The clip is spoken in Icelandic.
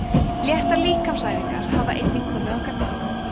léttar líkamsæfingar hafa einnig komið að gagni